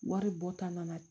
Wari bɔ ta nana